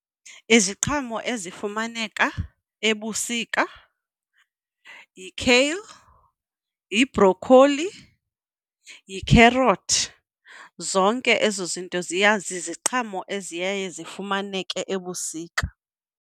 Iziqhamo ezifumaneka ebusika yi-kale, yibhrokholi, yikherothi. Zonke ezo zinto ziya ziziqhamo eziye zifumaneke ebusika.